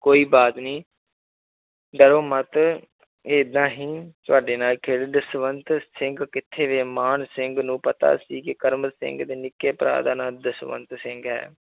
ਕੋਈ ਬਾਤ ਨੀ ਡਰੋ ਮੱਤ ਏਦਾਂ ਹੀ ਤੁਹਾਡੇ ਨਾਲ ਖੇਲ, ਜਸਵੰਤ ਸਿੰਘ ਕਿੱਥੇ ਗਿਆ ਮਾਨ ਸਿੰਘ ਨੂੰ ਪਤਾ ਸੀ ਕਿ ਕਰਮ ਸਿੰਘ ਦੇ ਨਿੱਕੇ ਭਰਾ ਦਾ ਨਾਂ ਜਸਵੰਤ ਸਿੰਘ ਹੈ